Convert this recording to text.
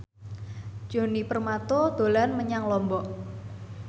Djoni Permato dolan menyang Lombok